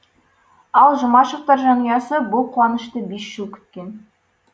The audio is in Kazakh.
ал жұмашевтар жанұясы бұл қуанышты бес жыл күткен